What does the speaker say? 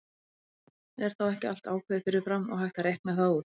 Er þá ekki allt ákveðið fyrir fram og hægt að reikna það út?